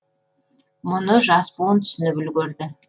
мұны жас буын түсініп үлгерді